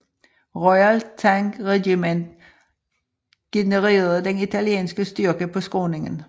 Royal Tank Regiment generede den italienske styrke på skråningen